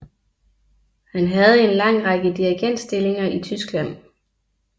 Han havde en lang række dirigentstillinger i Tyskland